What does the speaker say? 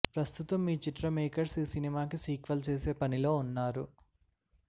ప్రస్తుతం ఈ చిత్ర మేకర్స్ ఈ సినిమాకి సీక్వెల్ చేసే పనిలో ఉన్నారు